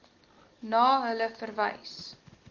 na hulle verwys